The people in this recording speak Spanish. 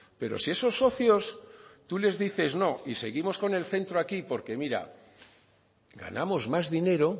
pero si esos socios tú les dices no y seguimos con el centro aquí porque mira ganamos más dinero